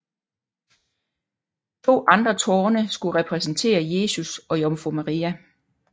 To andre tårne skulle repræsentere Jesus og Jomfru Maria